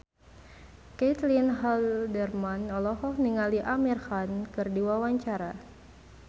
Caitlin Halderman olohok ningali Amir Khan keur diwawancara